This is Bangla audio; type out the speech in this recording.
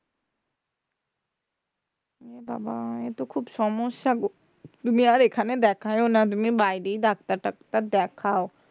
এ বাবা এতো খুব সমস্যা গো তুমি আর এখানে দেখিও না তুমি বাইরেই ডাক্তার টাকতার দেখাও